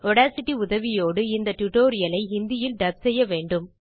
Audacity உதவியோடு இந்த tutorial ஐ ஹிந்தியில் டப் செய்யவேண்டும்